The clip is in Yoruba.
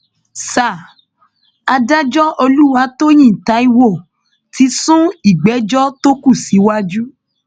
sa adájọ olùwàtòyìn taiwo ti sún ìgbẹjọ tó kù síwájú